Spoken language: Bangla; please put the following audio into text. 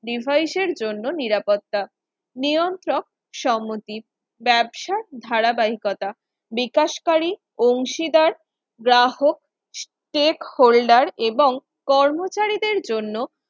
ডিভাইস এর জন্য নিরাপত্তা নিয়ন্ত্রক সমজিত ব্যবসা ধারাবাহিকতা বিকাশকারী অংশীদার গ্রাহক Cheque holder এবং কর্মচারীদের জন্য